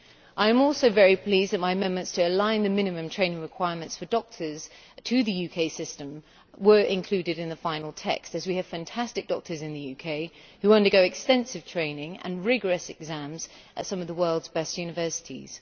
I am also very pleased that my amendments to align the minimum training requirements for doctors to the UK system were included in the final text, as we have fantastic doctors in the UK who undergo extensive training and rigorous exams at some of the world's best universities.